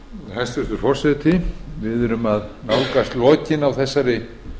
hæstvirtur forseti við erum að nálgast lokin á þessari